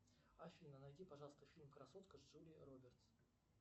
афина найди пожалуйста фильм красотка с джулией робертс